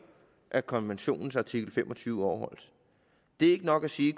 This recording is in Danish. at konventionens artikel fem og tyve overholdes det er ikke nok at sige